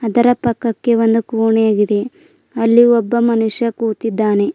ಇದರ ಪಕ್ಕಕ್ಕೆ ಒಂದು ಕೋಣೆಯಾಗಿದೆ ಅಲ್ಲಿ ಒಬ್ಬ ಮನುಷ್ಯ ಕೂತಿದ್ದಾನೆ.